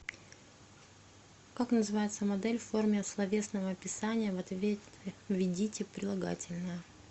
как называется модель в форме словесного описания в ответе введите прилагательное